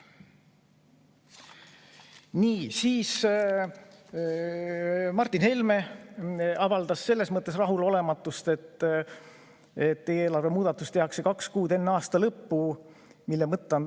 Nii, Martin Helme avaldas rahulolematust ja märkis, et eelarve muudatus tehakse kaks kuud enne aasta lõppu.